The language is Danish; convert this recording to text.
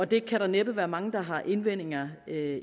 der kan næppe være mange der har invendinger